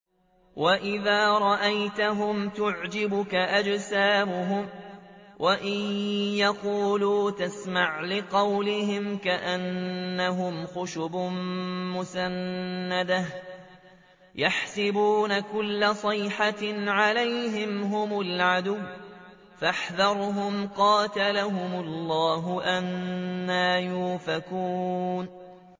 ۞ وَإِذَا رَأَيْتَهُمْ تُعْجِبُكَ أَجْسَامُهُمْ ۖ وَإِن يَقُولُوا تَسْمَعْ لِقَوْلِهِمْ ۖ كَأَنَّهُمْ خُشُبٌ مُّسَنَّدَةٌ ۖ يَحْسَبُونَ كُلَّ صَيْحَةٍ عَلَيْهِمْ ۚ هُمُ الْعَدُوُّ فَاحْذَرْهُمْ ۚ قَاتَلَهُمُ اللَّهُ ۖ أَنَّىٰ يُؤْفَكُونَ